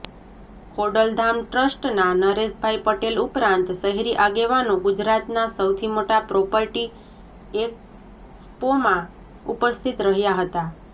ખોડલધામ ટ્રસ્ટના નરેશભાઈ પટેલ ઉપરાંત શહેરી આગેવાનો ગુજરાતના સૌથી મોટા પ્રોપર્ટી એકસ્પોમાં ઉપસ્થિત રહ્યાં હતા